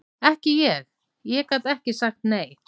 Ekki ég, ég gat ekki sagt nei.